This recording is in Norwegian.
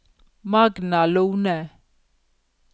Magna Lohne